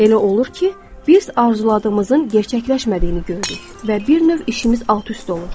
Elə olur ki, biz arzuladığımızın gerçəkləşmədiyini görürük və bir növ işimiz alt-üst olur.